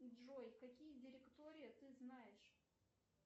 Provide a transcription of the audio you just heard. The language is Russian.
джой какие директории ты знаешь